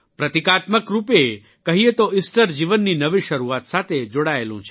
પ્રતિકાત્મકરૂપે કહીએ તો ઇસ્ટર જીવનની નવી શરૂઆત સાથે જોડાયેલું છે